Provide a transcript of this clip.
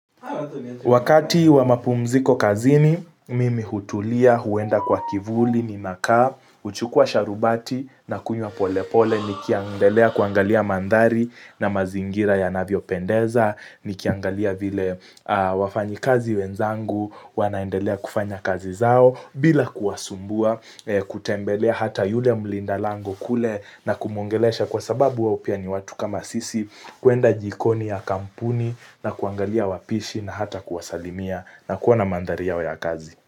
Wakati wa mapumziko kazini, mimi hutulia huenda kwa kivuli ninakaa, huchukua sharubati na kunywa polepole, nikiendelea kuangalia mandhari na mazingira yanavyo pendeza, nikiangalia vile wafanyikazi wenzangu, wanaendelea kufanya kazi zao, bila kuwasumbua, kutembelea hata yule mlinda lango kule na kumuongelesha kwa sababu wao pia ni watu kama sisi kuenda jikoni ya kampuni na kuangalia wapishi na hata kuwasalimia na kuona mandhari yao ya kazi.